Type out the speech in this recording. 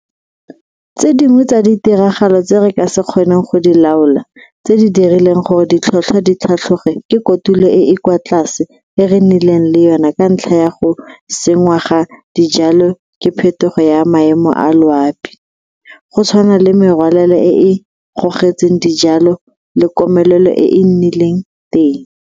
Tse dingwe tsa ditiragalo tse re ka se kgoneng go di laola tse di dirileng gore ditlhotlhwa di tlhatlhoge ke kotulo e e kwa tlase e re nnileng le yona ka ntlha ya go senngwa ga dijalo ke phetogo ya maemo a loapi, go tshwana le merwalela e e gogotseng dijalo le komelelo e e nnileng teng.